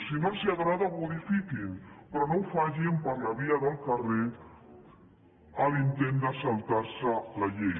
si no els agrada modifiquin la però no ho facin per la via del carrer intentant saltar se la llei